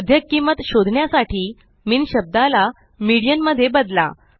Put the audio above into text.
मध्यक किंमत शोधण्यासाठी मिन शब्दाला मीडियन मध्ये बदला